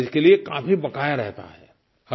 और इसके लिए काफ़ी बकाया रहता है